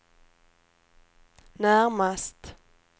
närmast